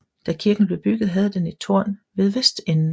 Da kirken blev bygget havde den et tårn ved vestenden